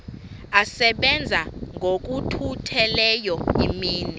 asebenza ngokokhutheleyo imini